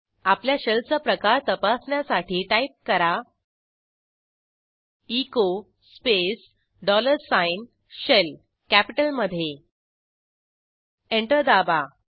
आपल्या शेल चा प्रकार तपासण्यासाठी टाईप करा echo space dollar sign shell कॅपिटलमधे एंटर दाबा